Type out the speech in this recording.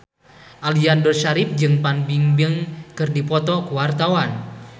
Aliando Syarif jeung Fan Bingbing keur dipoto ku wartawan